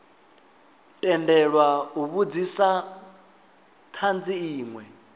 tendelwa u vhudzisa thanzi inwe